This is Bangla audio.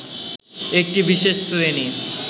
একটি বিশেষ শ্রেণী